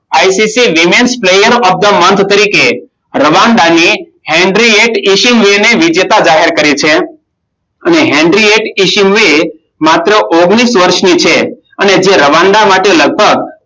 ICC women player of the month તરીકે રવાનાની Henry ઈશિમુએ વિજેતા જાહેર કરી છે. અને હેનરી ઈશિમુએ માત્ર ઓગણીસ વર્ષની છે. અને જે રવાન્ડા માટે લગભગ